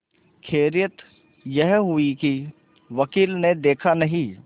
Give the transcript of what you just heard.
खैरियत यह हुई कि वकील ने देखा नहीं